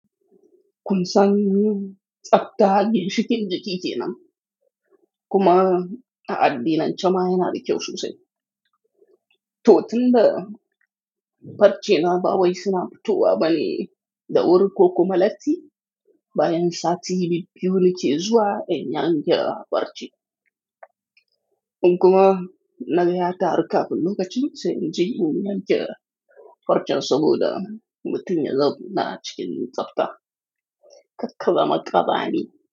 Kunsan tsabta ginshikin jiki kenam kuma a addinance ma yana da kyau sosai. To tun da farce na ba wai suna fitowa bane da wuri ko kuma lati bayan sati biyu nike zuwa in yanka farce. Kuma na gaya ta har ka kullum kacin sai in je inyi ringa farcen saboda mutum ya zo na cikin tsabta. Kakkazama ma ƙazami.